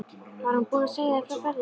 Var hún búin að segja þér frá ferðinni?